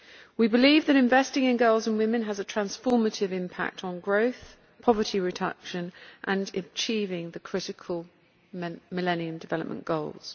We believe that investing in girls and women has a transformative impact on growth, poverty reduction and achieving the critical Millennium Development Goals.